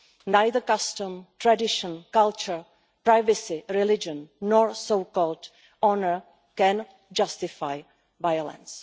Neither custom, tradition, culture, privacy, religion nor so called honour can justify violence.